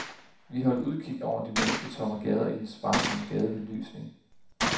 Vi holdt udkig over de mennesketomme gader i den sparsomme gadebelysning.